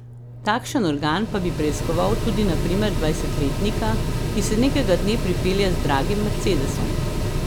Takšen organ pa bi preiskoval tudi na primer dvajsetletnika, ki se nekega dne pripelje z dragim mercedesom.